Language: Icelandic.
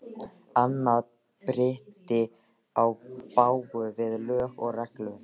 Annað bryti í bága við lög og reglur.